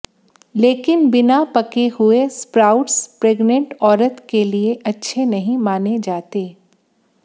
लेकिन बिना पके हु एस्प्राउट्स प्रेगनेंट औरतके लिये अच्छे नहीं माने जाते